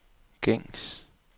gængs